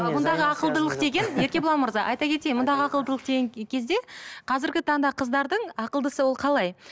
бұндағы ақылдылық деген еркебұлан мырза айта кетейін мұндағы ақылдылық деген кезде қазіргі таңда қыздардың ақылдысы ол қалай